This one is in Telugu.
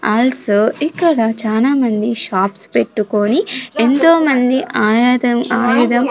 ఆల్సో ఇక్కడ చాలామంది షాప్స్ పెట్టుకొని ఎంతో మంది ఆయాదం ఆయదం.